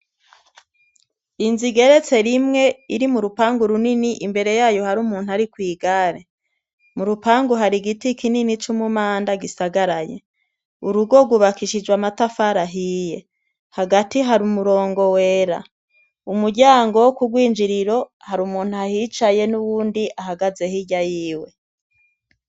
Inzu igeretse rimwe iri mu rupangu runini imbere yayo hari umuntu ari kw'igare, mu rupangu hari igiti kinini c'umumanda gisagaraye, urugo rwubakishijwe amatafari ahiye hagati hari umurongo wera, umuryango wo ku rwinjiriro hari umuntu ahicaye n'uwundi ahagaze hirya yiwe.